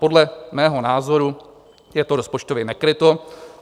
Podle mého názoru je to rozpočtově nekryto.